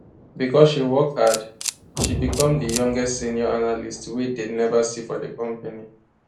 because she work hard she become di youngest senior analyst way dey never see for di company